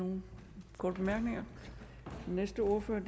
nogen korte bemærkninger den næste ordfører er